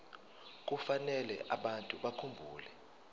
kufanele abantu bakhumbule